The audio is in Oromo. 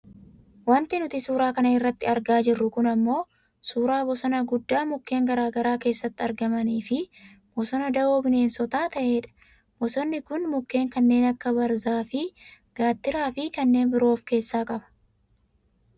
wanti nuti suuraa kana irratti argaa jirru kun ammoo suuraa bosonaa gudaa mukeen gara garaa keessatti argamaniif fi bosona da'oo bineensotaa ta'edha. bosonni kun mukeen kannen akka baarzaafi gaattiraafi kanneen biroo of keessaa qaba.